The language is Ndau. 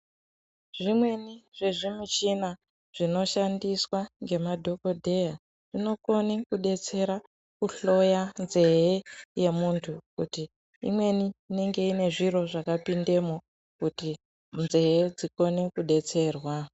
Zvimweni zvezvimuchina zvinoshandiswa ngemadhokodheya zvinokone kudetsera kuhloya nzee yemuntu kuti imweni inenge inezviro zvakapindemo kuti nzee dzikone kudetserwa.